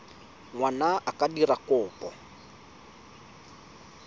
ngwana a ka dira kopo